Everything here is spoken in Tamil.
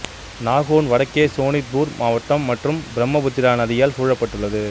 நாகோன் வடக்கே சோனித்பூர் மாவட்டம் மற்றும் பிரம்மபுத்ரா நதியால் சூழப்பட்டுள்ளது